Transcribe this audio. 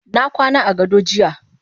Nakwana agado jiya.